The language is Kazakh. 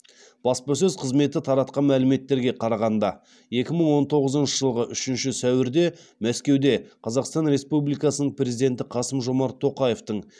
баспасөз қызметі таратқан мәліметтерге қарағанда екі мың он тоғызыншы жылғы үшінші сәуірде мәскеуде қазақстан республикасының президенті қасым жомарт тоқаевтың